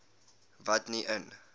wat nie in